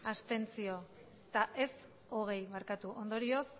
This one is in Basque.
abstentzioak hogeita zazpi ondorioz